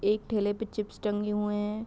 एक ठेले पे चिप्स टंगे हुए है।